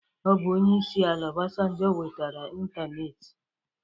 Ọbụ Onyeisi ala Ọbasanjọ wetara ịntanetị.